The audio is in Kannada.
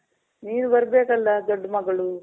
ನೀವ್ ಬರ್ಬೇಕಲ್ಲ ದೊಡ್ ಮಗಳು.